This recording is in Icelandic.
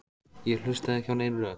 Ég hlustaði ekki á nein rök.